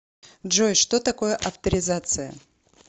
джой что такое авторизация